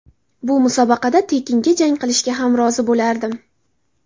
Bu musobaqada tekinga jang qilishga ham rozi bo‘lardim.